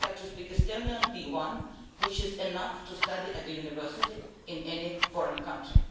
They have to speak Estonian B1, which is enough to study at university in any foreign country.